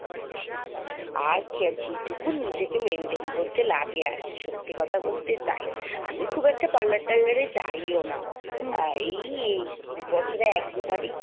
আর এইটুকুন নিজেকে maintain করতে লাগে আরকি সত্যি কথা বলতে তাই আমি খুব একটা parlour টারলারে যাই ও না এই এই বছরে এক দু বারি